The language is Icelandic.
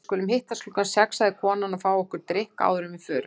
Við skulum hittast klukkan sex, sagði konan, og fá okkur drykk áður en við förum.